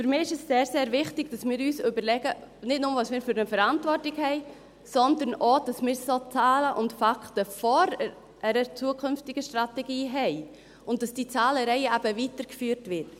Für mich ist es sehr, sehr wichtig, dass wir uns nicht nur überlegen, was wir für eine Verantwortung haben, sondern auch, dass wir solche Zahlen und Fakten vor einer zukünftigen Strategie haben, und dass diese Zahlenreihe eben weitergeführt wird.